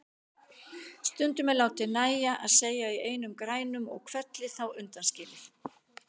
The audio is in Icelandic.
Stunduð er látið nægja að segja í einum grænum og hvelli þá undanskilið.